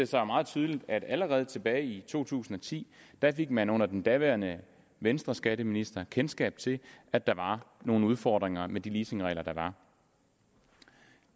sig meget tydeligt at allerede tilbage i to tusind og ti fik man under den daværende venstreskatteminister kendskab til at der var nogle udfordringer med de leasingregler der var